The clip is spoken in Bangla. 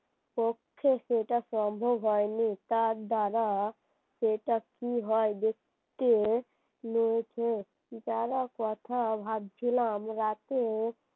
পক্ষ থেকে এটা সম্ভব হয়নি তার দ্বারা সেটা কি হয় দেখতে মেয়েকে যারা কথা ভাবছিলাম রাতে